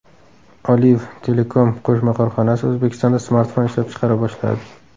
Olive Telecom qo‘shma korxonasi O‘zbekistonda smartfon ishlab chiqara boshladi.